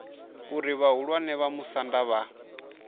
uri vhahulwane vha musanda vha